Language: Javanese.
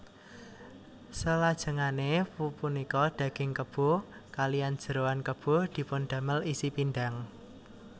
Selajengane pupunika daging kebo kaliyan jeroan kebo dipundamel isi pindhang